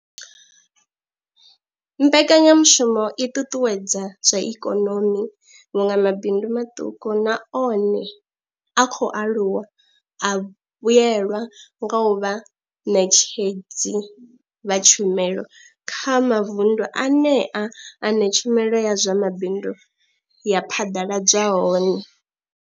Mbekanya mushumo i ṱuṱuwedza zwa ikonomi vhunga mabindu maṱuku na one a khou aluwa a vhuelwa nga u vha vhaṋetshedzi vha tshumelo kha mavundu anea ane tshumelo ya zwa mabindu ya phaḓaladzwa hone.